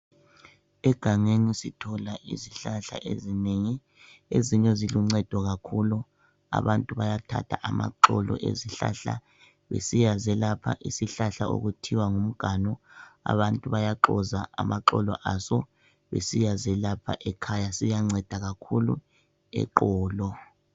Egangeni sithola izihlahla ezinengi ezinye ziluncedo kakhulu abantu bayathatha amaxolo esihlahla besiya zelapha isihlahla okuthiwa ngumganu abantu bayaxoza amaxolo aso besiyazelapha ekhaya siyanceda kakhulu eqolo